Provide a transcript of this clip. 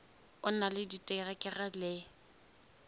o na le diterekere le